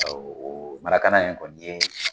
Awɔ, marakana in kɔni ye